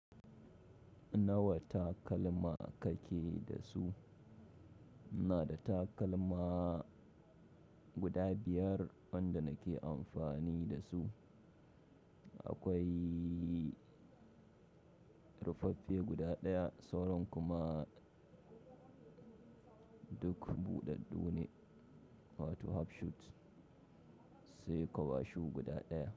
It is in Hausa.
Nawa takalma kake da su? Ina da takalma guda biyar wanda nake amfani da su. Akwai rufaffe guda ɗaya, sauran kuma duk buɗaɗɗu ne, wato half shoes, sai kwaba shoe guda ɗaya.